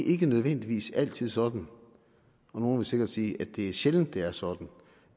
ikke nødvendigvis altid sådan og nogle vil sikkert sige at det er sjældent det er sådan